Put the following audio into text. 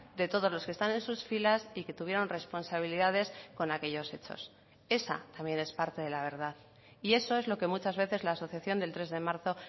de todos los que están en sus filas y que tuvieron responsabilidades con aquellos hechos esa también es parte de la verdad y eso es lo que muchas veces la asociación del tres de marzo